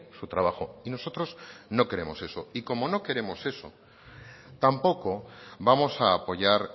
su trabajo y nosotros no queremos eso y como no queremos eso tampoco vamos a apoyar